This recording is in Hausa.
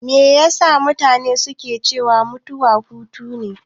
Me yasa mutane ke cewa mutuwa hutune?